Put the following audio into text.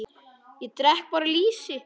Ég drekk bara lýsi!